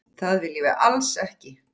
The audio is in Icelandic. Það viljum við alls ekki.